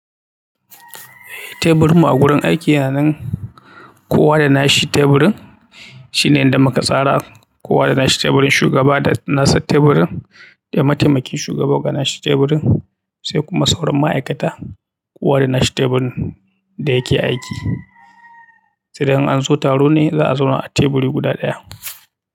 Teburin mu a wurin aiki yana nan kowa da nashi teburin shi ne inda muka tsara. Kowa da nashi teburin, shugaba da nasa teburin da mataimakin shugaba da nashi teburin sai kuma sauran ma'aikata kowa da nashi teburin da yake aiki. Sai dai in an zo taro ne za a zauna a teburi guda ɗaya.